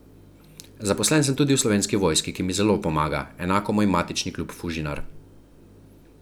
Zaposlen sem tudi v slovenski vojski, ki mi zelo pomaga, enako moj matični klub Fužinar.